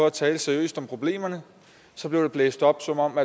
at tale seriøst om problemerne blev det blæst op som om